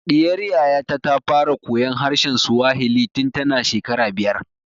Ɗiyar Yaya ta ta fara koyan harshen Swahili tun ta na shekara biyar